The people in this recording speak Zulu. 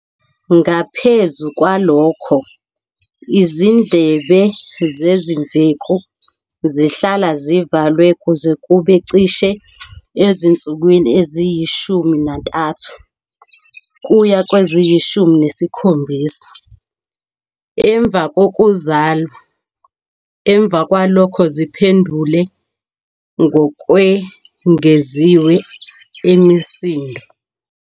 Ngaphezu kwalokho, izindlebe zezimveku zihlala zivalwe kuze kube cishe ezinsukwini eziyishumi nantathu kuya kweziyishumi nesikhombisa emva kokuzalwa, emva kwalokho ziphendule ngokwengeziwe emisindo.